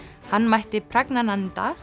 hann mætti